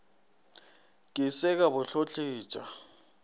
ke se ka bo hlotletša